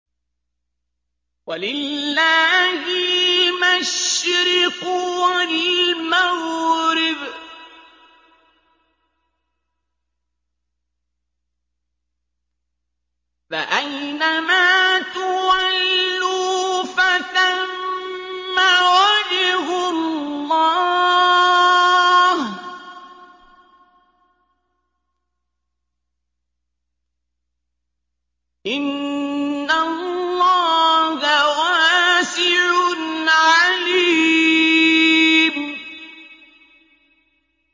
وَلِلَّهِ الْمَشْرِقُ وَالْمَغْرِبُ ۚ فَأَيْنَمَا تُوَلُّوا فَثَمَّ وَجْهُ اللَّهِ ۚ إِنَّ اللَّهَ وَاسِعٌ عَلِيمٌ